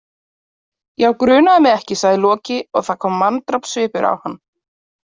Já, grunaði mig ekki, sagði Loki og það kom manndrápssvipur á hann.